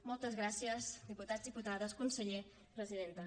moltes gràcies diputats diputades conseller presidenta